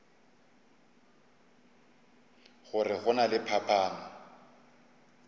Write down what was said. gore go na le phapano